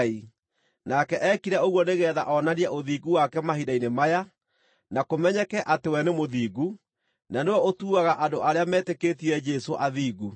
nake eekire ũguo nĩgeetha onanie ũthingu wake mahinda-inĩ maya, na kũmenyeke atĩ we nĩ mũthingu, na nĩwe ũtuaga andũ arĩa metĩkĩtie Jesũ athingu.